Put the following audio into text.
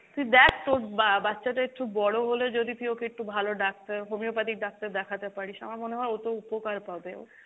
তুই দেখ তোর বা~ বাচ্চাটা একটু বড়ো হলে যদি তুই ওকে একটু ভালো ডাক্তার homeopathic ডাক্তার দেখাতে পারিস, আমার মনে হয় ওতে উপকার পাবে ও।